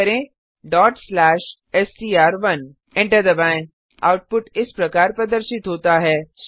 type करें str1 enter दबाएँ output इस प्रकार प्रदर्शित होता है